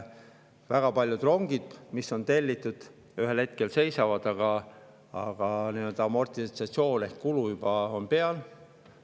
Väga paljud rongid, mis on tellitud, ühel hetkel seisavad, aga nii-öelda amortisatsioon ehk kulu on juba olemas.